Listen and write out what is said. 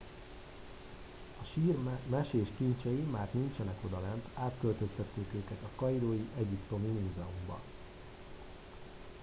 a sír mesés kincsei már nincsenek odalent átköltöztették őket a kairói egyiptomi múzeumba